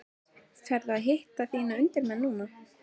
Ferðu og hittir þína undirmenn núna?